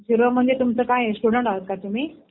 Zero म्हणजे तुमचं काय आहे? स्टुडन्ट आहेत का तुम्ही?